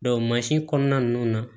mansin kɔnɔna ninnu na